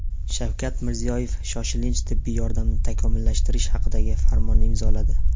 Shavkat Mirziyoyev shoshilinch tibbiy yordamni takomillashtirish haqidagi farmonni imzoladi .